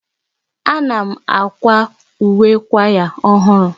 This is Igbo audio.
Ana m akwa uwe kwaya ọhụrụ.